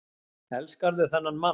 Elskarðu þennan mann?